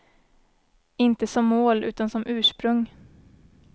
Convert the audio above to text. Inte som mål, utan som ursprung.